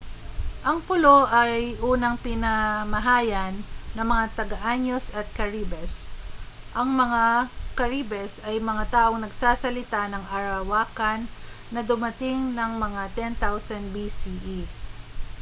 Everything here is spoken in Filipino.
ang pulo ay unang pinamahayan ng mga taã­nos at caribes. ang mga caribes ay mga taong nagsasalita ng arawakan na dumating ng mga 10,000 bce